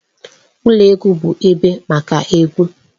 Ụlọ egwu bụ ebe maka egwu.